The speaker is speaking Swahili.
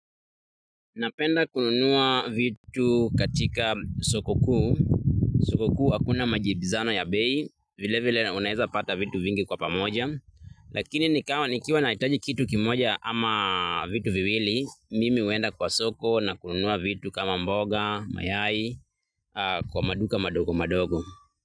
Napenda kununua vitu katika soko kuu, soko kuu hakuna majibizano ya bei, vilevile unaweza pata vitu vingi kwa pamoja, lakini nikiwa nahitaji kitu kimoja ama vitu viwili, mimi huenda kwa soko na kununua vitu kama mboga, mayai, kwa maduka madogo madogo.